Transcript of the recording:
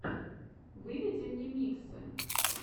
выведи мне миксы